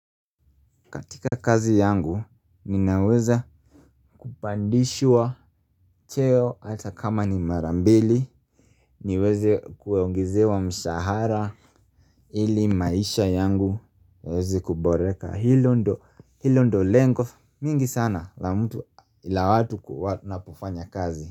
Katika kazi yangu ninaweza kupandishwa cheo hata kama ni marambili. Niweze kuongezewa mshahara ili maisha yangu yaweze kuboreka hilo ndo lengo mingi sana la mtu ila watu kufanya kazi.